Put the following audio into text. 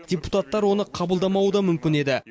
депутаттар оны қабылдамауы да мүмкін еді